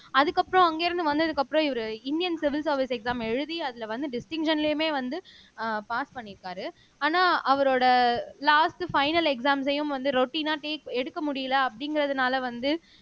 அதுக்கப்புறம் அங்கிருந்து வந்ததுக்கு அப்புறம் இவரு இந்தியன் சிவில் சர்வீஸ் எக்ஸாம் எழுதி அதுல வந்து டிஸ்டிங்க்ஷன்லயுமே வந்து அஹ் பாஸ் பண்ணியிருக்காரு ஆனா அவரோட லாஸ்ட் பைனல் எக்சாம்ஸையும் வந்து ரொட்டின்னா டேக் எடுக்க முடியலை அப்படிங்கறதுனால வந்து